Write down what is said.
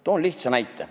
Toon lihtsa näite.